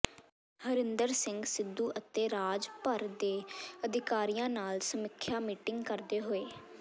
ਹਰਿੰਦਰ ਸਿੰਘ ਸਿੱਧੂ ਅਤੇ ਰਾਜ ਭਰ ਦੇ ਅਧਿਕਾਰੀਆਂ ਨਾਲ ਸਮੀਖਿਆ ਮੀਟਿੰਗ ਕਰਦੇ ਹੋਏ